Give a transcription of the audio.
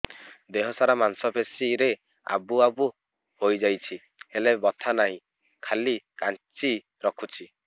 ଦେହ ସାରା ମାଂସ ପେଷି ରେ ଆବୁ ଆବୁ ହୋଇଯାଇଛି ହେଲେ ବଥା ନାହିଁ ଖାଲି କାଞ୍ଚି ରଖୁଛି